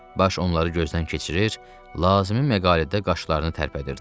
Baş onları gözdən keçirir, lazım məqalədə qaşlarını tərpədirdi.